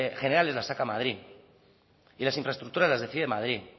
generales las saca madrid y las infraestructuras las decide madrid